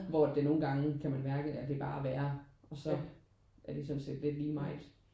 Hvor at det nogen gange kan man mærke er det bare at være og så er det sådan set lidt lige meget